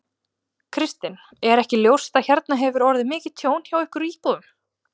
Kristinn: Er ekki ljóst að hérna hefur orðið mikið tjón hjá ykkur íbúunum?